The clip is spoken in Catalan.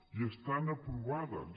i estan aprovades